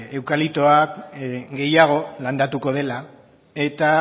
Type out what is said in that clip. eukaliptoa gehiago landatuko dela eta